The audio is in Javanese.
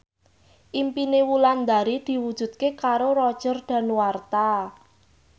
impine Wulandari diwujudke karo Roger Danuarta